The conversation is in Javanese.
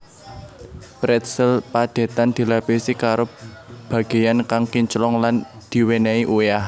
Pretzel padhetan dilapisi karo bagéyan kang kinclong lan diwènèhi uyah